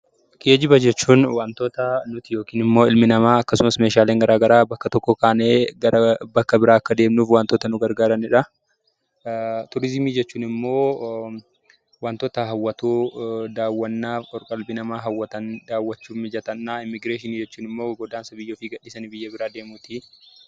Geejiba jechuun wantoota ilmi namaa yookaan meeshaalee bakka tokkoo kaanee bakka tokkotti bakka biraa akka deemnuuf wantoota nu gargaaraniidha. Tuurizimii jechuun ammoo wantoota hammatoo daawwannaaf qalbii namaa hawwatan. Immigiraashinii jechuun immoo godaansa biyya ofii dhiisanii biyya biroo godaananiidha